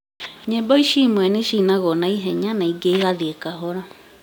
nyĩmbo ici imwe nĩcinagwo na ihenya na ingĩ igathiĩ kahora